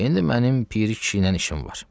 İndi mənim Piri kişi ilə işim var.